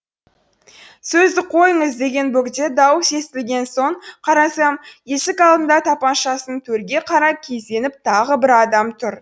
сөзді қойыңыз деген бөгде дауыс естілген соң қарасам есік алдында тапаншасын төрге қарай кезеніп тағы бір адам тұр